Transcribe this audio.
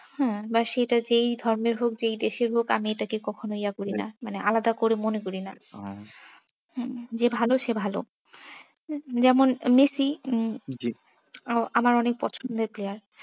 হ্যাঁ বা সেটা যেই ধরণের হোক যেই দেশের হোক আমি এটাকে কখনো ইয়া করি না মানে আলাদা করে মনে করি না। হম যে ভালো সে ভালো যেমন মেসি উম জি আহ আমার অনেক পছন্দের player